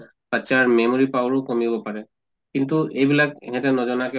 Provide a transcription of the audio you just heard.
বাচ্ছাৰ memory power ও কমিব পাৰে। কিন্তু এইবিলাক হেহঁতে নজনাকে